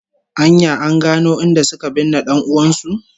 An ya an gano inda suka binne dan'uwan su?